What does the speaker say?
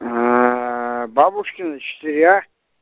бабушкина четыре а